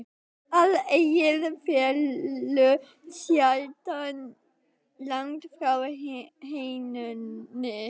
Að eggið fellur sjaldan langt frá hænunni!